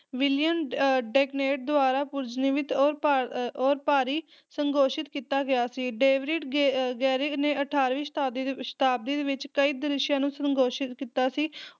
William ਅਹ ਵੇਨੈਂਟ ਦੁਆਰਾ ਪੁਰਜਨੀਵਿਤ ਔਰ ਭਾ ਅਹ ਔਰ ਭਾਰੀ ਸੰਸ਼ੋਧਿਤ ਕੀਤਾ ਗਿਆ ਸੀ। ਡੇਵਿਡ ਗੇ ਅਹ ਗੈਰਿਕ ਨੇ ਅਠਾਰਵੀਂ ਸ਼ਤਾਬਦੀ ਦੇ ਵੀ ਸ਼ਤਾਬਦੀ ਦੇ ਵਿੱਚ ਕਈ ਦ੍ਰਿਸ਼ਾਂ ਨੂੰ ਸੰਸ਼ੋਧਿਤ ਕੀਤਾ ਸੀ,